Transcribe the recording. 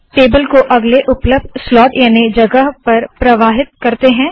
table को अगले उपलब्ध स्लोट याने जगह पर प्रवाहित करते है